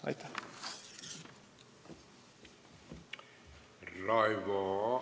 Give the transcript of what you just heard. Aitäh!